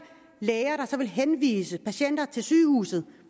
læger der så vil henvise patienter til sygehuset